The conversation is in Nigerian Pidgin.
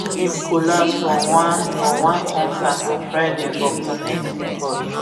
im collapse for one for one concert on friday for connecticut